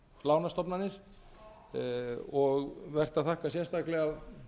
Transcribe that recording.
lánastofnanir og vert að þakka sérstaklega